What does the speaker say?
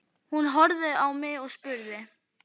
Hún horfði á mig og spurði